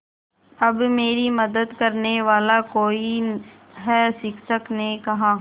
अब मेरी मदद करने वाला कोई है शिक्षक ने कहा